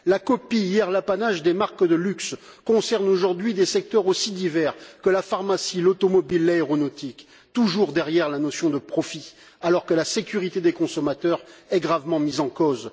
La copie, hier l'apanage des marques de luxe, concerne aujourd'hui des secteurs aussi divers que la pharmacie, l'automobile et l'aéronautique, avec toujours en toile de fond la notion de profit, alors que la sécurité des consommateurs est gravement mise en cause.